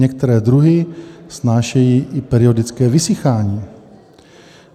Některé druhy snášejí i periodické vysychání.